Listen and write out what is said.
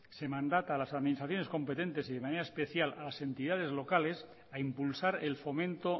se mandata a las administraciones competentes y de manera especial a las entidades locales a impulsar el fomento